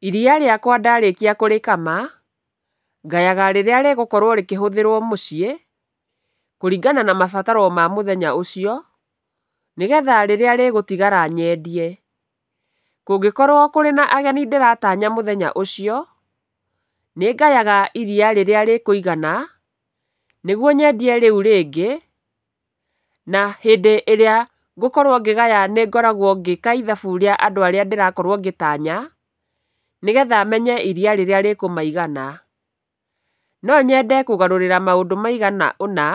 Iriya rĩakwa ndarĩkia kũrĩkama, ngayaga rĩrĩa rĩgũkorwo rĩkĩhũthĩrwo mũciĩ, kũringana na mabataro ma mũthenya ũcio, nĩgetha rĩrĩa rĩgũtigara nyendie. Kũngĩkorwo kũrĩ na ageni ndĩratanya mũthenya ũcio, nĩngayaga iriya rĩrĩa rĩkũigana, nĩguo nyendie rĩu rĩngĩ. Na hĩndĩ ĩrĩa ngũkorwo ngĩgaya nĩngoragwo ngĩka ithabu rĩa andũ arĩa ndĩrakorwo ngĩtanya, nĩgetha menye iria rĩrĩa rĩkũmaigana. No nyende kũgarũrĩra maũndũ maigana ũna,